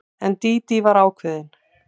En Dídí var ákveðin.